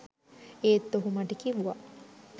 ඒත් ඔහු මට කිව්වා